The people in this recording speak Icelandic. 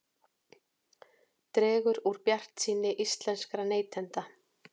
Dregur úr bjartsýni íslenskra neytenda